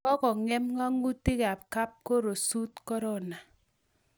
kokongem nga'atutik ab kapkorosut korona